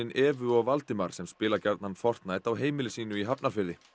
Evu og Valdimar sem spila gjarnan á heimili sínu í Hafnarfirði